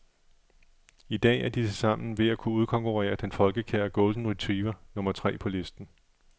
I dag er de tilsammen ved at kunne udkonkurrere den folkekære golden retriever, nummer tre på listen.